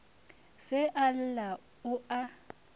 se a lla o a